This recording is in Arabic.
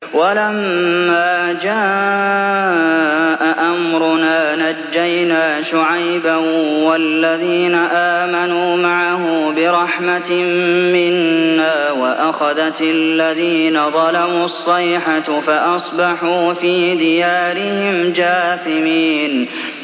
وَلَمَّا جَاءَ أَمْرُنَا نَجَّيْنَا شُعَيْبًا وَالَّذِينَ آمَنُوا مَعَهُ بِرَحْمَةٍ مِّنَّا وَأَخَذَتِ الَّذِينَ ظَلَمُوا الصَّيْحَةُ فَأَصْبَحُوا فِي دِيَارِهِمْ جَاثِمِينَ